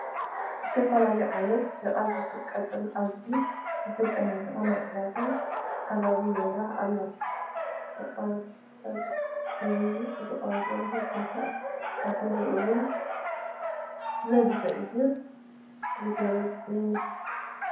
ዝተፈላለዩ ዓይነታት ሸቐጥ ዝሽየጥሉ ኣዝዩ ዝተጨናነቐ ናይ ዕዳጋ ከባቢ ይርአ ኣሎ፡፡ ሸቐጣብ ብበዝሒ ዝቐርበሉ ቦታ ዓዳጊ እውን ብበዝሒ እዩ ዝጉብንዮ፡፡